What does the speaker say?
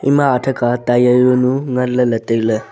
ima atha kha tyre zaunu nganley ley tailey.